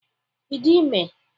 Ị dị ime?